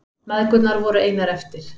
Mæðgurnar voru einar eftir.